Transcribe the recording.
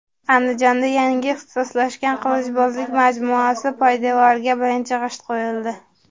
Andijonda yangi ixtisoslashgan qilichbozlik majmuasi poydevoriga birinchi g‘isht qo‘yildi.